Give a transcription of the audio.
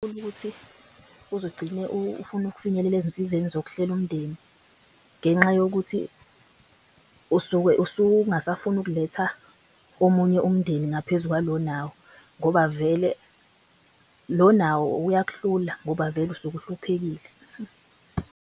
Ukuthi uzugcine ufuna ukufinyelela ezinsizeni zokuhlela umndeni ngenxa yokuthi usuke usungasafuni ukuletha omunye umndeni ngaphezu kwalo onawo ngoba vele lo nawo uyakuhlula ngoba vele usuke uhluphekile.